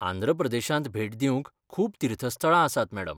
आंध्र प्रदेशांत भेट दिवंक खूब तीर्थस्थळां आसात, मॅडम.